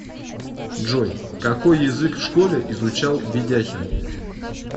джой какой язык в школе изучал ведяхин